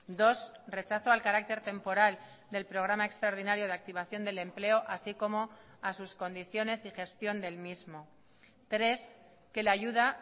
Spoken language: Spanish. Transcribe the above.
dos rechazo al carácter temporal del programa extraordinario de activación del empleo así como a sus condiciones y gestión del mismo tres que la ayuda